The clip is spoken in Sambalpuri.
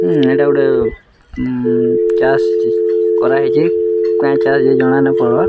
ଉଁ ଏଇଟା ଗୋଟେ ଉଁ ଚାଷ୍‌ କରା ହେଇଛେ କେଁ ଚାଷ୍‌ ଯେ ଜଣା ନାଇଁ ପଡ଼ବାର୍‌।